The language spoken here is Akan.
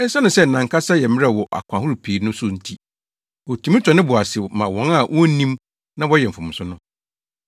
Esiane sɛ nʼankasa yɛ mmerɛw wɔ akwan ahorow pii so no nti, otumi tɔ ne bo ase ma wɔn a wonnim na wɔyɛ mfomso no.